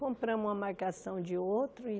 Compramos uma marcação de outro e...